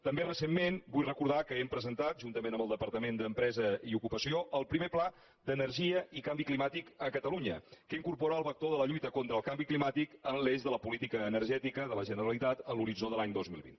també recentment ho vull recordar hem presentat juntament amb el departament d’empresa i ocupació el primer pla d’energia i canvi climàtic a catalunya que incorpora el vector de la lluita contra el canvi climàtic en l’eix de la política energètica de la generalitat en l’horitzó de l’any dos mil vint